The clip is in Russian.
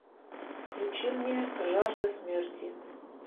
включи мне жажда смерти